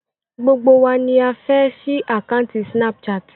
Gbogbo wa ni a fẹ ṣí àkanti snapchat.